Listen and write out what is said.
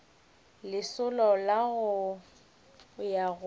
lesolo la go ya go